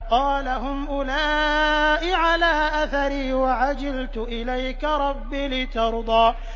قَالَ هُمْ أُولَاءِ عَلَىٰ أَثَرِي وَعَجِلْتُ إِلَيْكَ رَبِّ لِتَرْضَىٰ